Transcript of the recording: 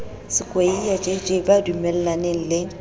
skweyiya jj ba dumellaneng le